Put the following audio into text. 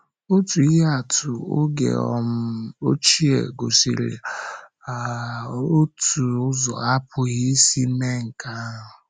Otu ihe atụ oge um ochie gosiri um otu ụzọ, apụghị isi mee um nke ahụ.